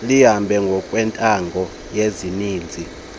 lihambe ngokwentando yesininzi